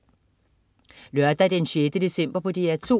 Lørdag den 6. december - DR2: